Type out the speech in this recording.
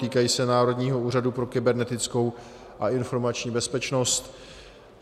Týkají se Národního úřadu pro kybernetickou a informační bezpečnost.